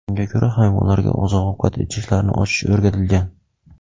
Unga ko‘ra, hayvonlarga oziq-ovqat idishlarini ochish o‘rgatilgan.